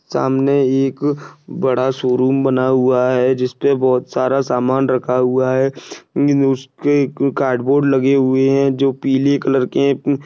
सामने एक बड़ा शोरूम बना हुआ है जिसपे बहुत सारा सामान रखा हुआ है उसके एक कार्डबोर्ड लगे हुए है जो पीले कलर के--